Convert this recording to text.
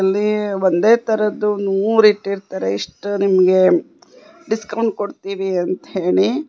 ಇಲ್ಲಿ ಒಂದೇ ತರದ್ದು ನೂರು ಇಟ್ಟಿರುತ್ತಾರೆ ಇಷ್ಟು ನಿಮಗೆ ಡಿಸ್ಕೌಂಟ್ ಕೊಡ್ತಿವಿ ಅಂತ ಹೇಳಿ.